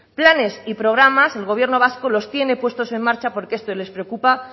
planes y programas el gobierno vasco los tiene puesto en marcha porque esto les preocupa